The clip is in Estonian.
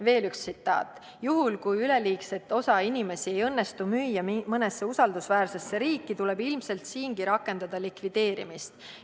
" Veel üks tsitaat: "Juhul, kui üleliigset osa inimesi ei õnnestu müüa mõnesse usaldusväärsesse riiki, tuleb ilmselt siingi rakendada likvideerimist.